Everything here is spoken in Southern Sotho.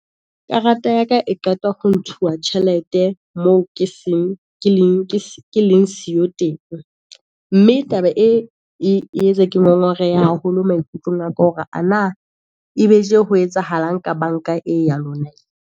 Karata ya ka e qeta ho ntshuwa tjhelete, moo ke leng siyo teng, mme taba e etsa ke ngongorehe haholo maikutlong a ka, hore ana e be tje ho etsahalang ka banka ena ya lona.